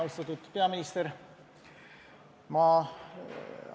Austatud peaminister!